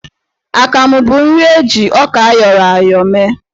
Akamụ bụ nri eji ọka ayọrọ ya ayọ mee.